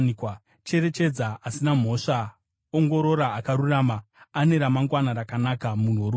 Cherechedza asina mhosva, ongorora akarurama; ane ramangwana rakanaka munhu worugare.